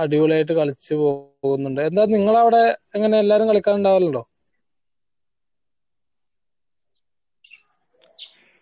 അടിപൊളി ആയിട്ട് കളിച്ചു എന്ന ഓർമ്മയുണ്ട് എന്താ നിങ്ങള അവിടേ എങ്ങനെ എല്ലാവരും കളിക്കാൻ ഉണ്ടാവലുണ്ടോ